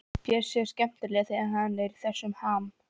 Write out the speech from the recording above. Bjössi er skemmtilegur þegar hann er í þessum ham.